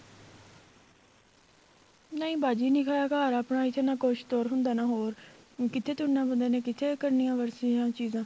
ਨਹੀਂ ਬਾਜੀ ਨਿੱਕਾ ਜਾ ਘਰ ਆਪਣਾ ਇੱਥੇ ਨਾ ਤੁਰ ਹੁੰਦਾ ਨਾ ਕੁੱਝ ਹੋਰ ਕਿੱਥੇ ਤੁਰਨਾ ਬੰਦੇ ਨੇ ਕਿੱਥੇ ਕਰਨੀਆਂ ਉਹ ਚੀਜ਼ਾਂ